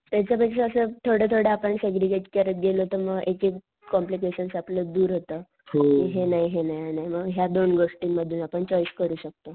त्याच्या पेक्षा असं थोडं थोडं आपण सेग्रीगेट करत गेलो तर मग एक एक कॉम्प्लिकेशन आपलं दूर होत. हे नाही हे नाही आणि मग ह्या दोन गोष्टी मधून आपण चॉईस करू शकतो